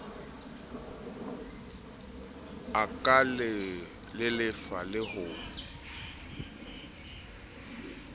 e ka lelefala le ho